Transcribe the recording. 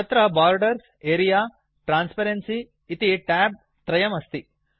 तत्र borders are transparency इति tab त्रयम् अस्ति